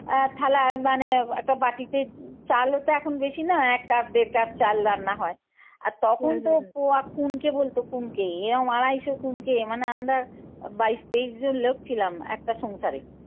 আহ থালা মানে এ তো বাটিতে চালও তো এখন দেখি না এক cup দেড় cup চাল রান্না হয় আর তখন তো পোয়া কুনকে বলত কুনকে এরম আড়াইশ কুনকে মানে আমরা বাইশ তেইশ জন লোক ছিলাম একটা সংসারে।